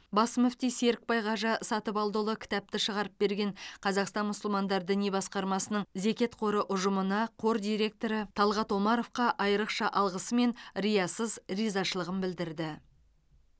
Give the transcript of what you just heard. бас мүфти серікбай қажы сатыбалдыұлы кітапты шығарып берген қазақстан мұсылмандар діни басқармасының зекет қоры ұжымына қор директоры талғат омаровқа айрықша алғысы мен риясыз ризашылығын білдірді